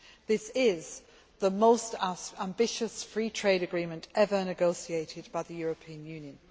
This is the most ambitious free trade agreement ever negotiated by the European Union.